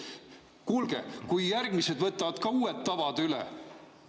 Kuulge, aga kui järgmised võtavad ka uued tavad üle!